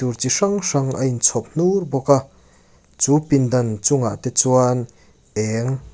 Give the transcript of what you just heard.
bur chi hrang hrang a inchhawp hnur mai a chu pindan inchungah chuan eng--